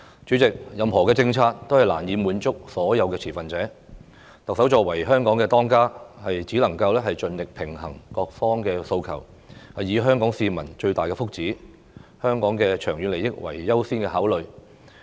主席，任何政策都難以滿足所有持份者，特首作為香港的"當家"，只能盡力平衡各方訴求，以香港市民的最大福祉、香港的長遠利益為優先考慮。